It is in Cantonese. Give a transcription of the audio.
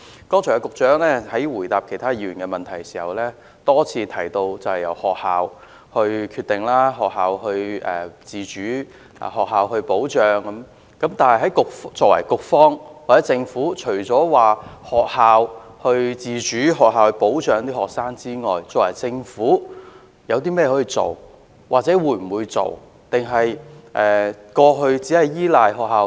局長剛才答覆其他議員的補充質詢時多次提到，由學校決定、學校自主及由學校保障學生，但局方或政府還可以做些甚麼，還是仍像過去一樣只是依賴學校？